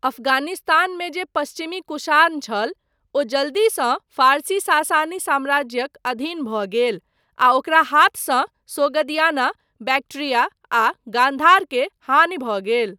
अफगानिस्तान मे जे पश्चिमी कुषाण छल, ओ जल्दीसँ फारसी सासानी साम्राज्यक अधीन भऽ गेल आ ओकरा हाथसँ सोगदियाना, बैक्ट्रिया, आ गान्धार के हानि भऽ गेल।